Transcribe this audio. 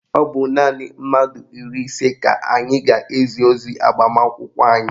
Ọ bụ naanị mmadụ iri ise ka anyị ga-ezi ozi agbamakwụkwọ anyị